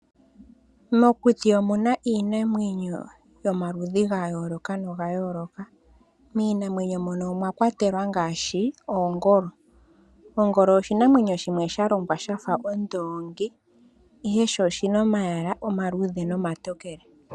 Mokuti omuna iinamwenyo yomaludhi gayooloka. Miinamwenyo moka omwakwatelwa iinamwenyo ngaashi ongolo. Ongolo oyalongwa yafa ondoongi ihe sho oshina omayala omaluudhe nomatokele.